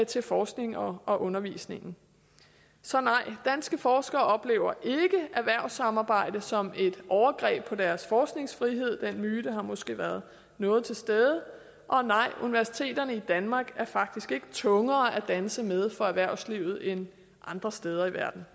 til forskningen og og undervisningen så nej danske forskere oplever ikke erhvervssamarbejde som et overgreb på deres forskningsfrihed den myte har måske været noget til stede og nej universiteterne i danmark er faktisk ikke tungere at danse med for erhvervslivet end andre steder i verden